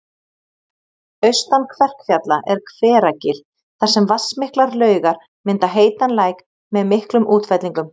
Austan Kverkfjalla er Hveragil þar sem vatnsmiklar laugar mynda heitan læk með miklum útfellingum